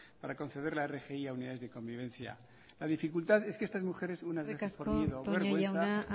para conceder la rgi y a unidades de convivencia la dificultad es que estas mujeres eskerrik asko toña jauna